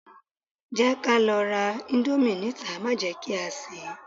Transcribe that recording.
Jẹ́ ká lọ ra íńdómì níta má jẹ kí a sè é.